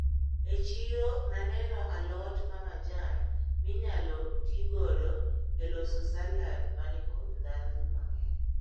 E chiro naneno a lot mamajan minyalo tigodo e loso salad manikod ndhadhu mang`eny.